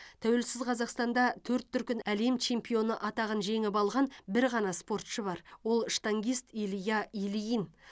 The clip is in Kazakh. тәуелсіз қазақстанда төрт дүркін әлем чемпионы атағын жеңіп алған бір ғана спортшы бар ол штангист илья ильин